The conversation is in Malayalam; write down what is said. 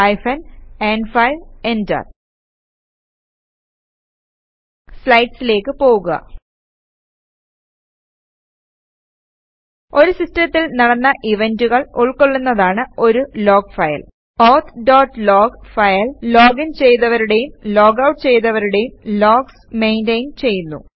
ഹൈഫൻ ന്5 എന്റർ സ്ലൈഡ്സിലേക്ക് പോകുക ഒരു സിസ്റ്റത്തിൽ നടന്ന ഇവന്റുകൾ ഉൾകൊള്ളുന്നതാണ് ഒരു log file auth dot log file login ചെയ്തവരുടേയും ലോഗ് ഔട്ട് ചെയ്തവരുടേയും ലോഗ്സ് മെയിന്റയിന് ചെയ്യുന്നു